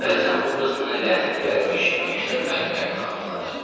Bəzən bu qız mənə lənəti gəlmiş məktəb müəllimlərini xatırladır.